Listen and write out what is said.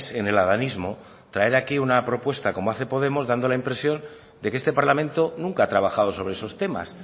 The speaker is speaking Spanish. en el adanismo traer aquí una propuesta como hace podemos dando la impresión de que este parlamento nunca ha trabajado sobre esos temas